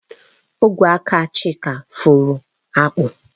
Ogwe aka Chika fụrụ akpụ